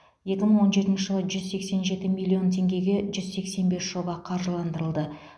екі мың он жетінші жылы жүз сексен жеті миллион теңгеге жүз сексен бес жоба қаржыландырылды